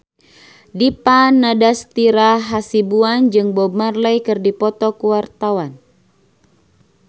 Dipa Nandastyra Hasibuan jeung Bob Marley keur dipoto ku wartawan